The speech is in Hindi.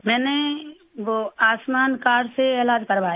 मैंने वो आयुष्मान कार्ड से इलाज करवाया है